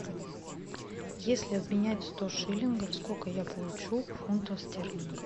если обменять сто шиллингов сколько я получу фунтов стерлингов